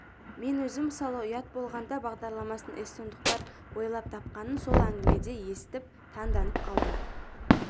мен өзім мысалы ұят болғанда бағдарламасын эстондықтар ойлап тапқанын сол әңгімеде естіп таңданып қалдым